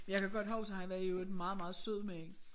Jeg kan godt husk at han er jo en meget meget sød mand